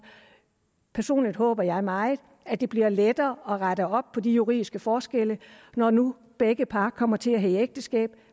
personligt håber jeg meget at det bliver lettere at rette op på de juridiske forskelle når nu situationen begge par kommer til at hedde ægteskab